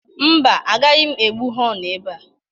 Mba, agaghị m egbu họnụ ebe a.